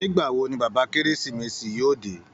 Nígbà wo ni bàbá kérésìmesì yóò dé?